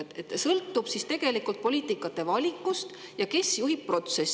Nii et see sõltub tegelikult poliitikavalikust ja sellest, kes seda protsessi juhib.